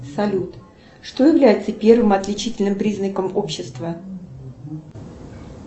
салют что является первым отличительным признаком общества